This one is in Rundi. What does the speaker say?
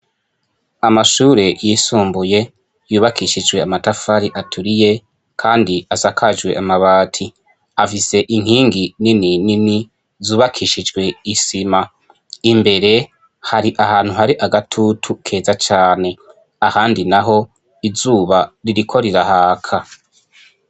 amashure yisumbuye yubakishijwe amatafari aturiye kandi asakajwe amabati afise inkingi nini nini zubakishijwe isima imbere hari ahantu hari agatutu keza cyane ahandi naho izuba ririkorirahaka